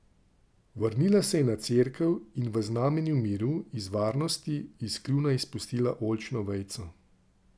Vrnila se je na cerkev in v znamenje miru in varnosti iz kljuna izpustila oljčno vejico.